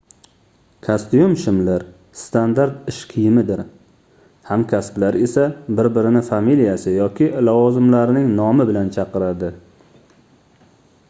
kostyum-shimlar standart ish kiyimidir hamkasblar esa bir-birini familiyasi yoki lavozimlarining nomi bilan chaqiradi